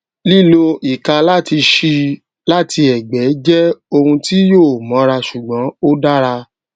lílo ìka láti ṣíi láti ègbé jé ohun tí yóò móra ṣùgbón ó dára